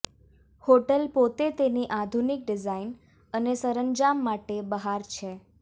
hotel પોતે તેની આધુનિક ડિઝાઇન અને સરંજામ માટે બહાર છે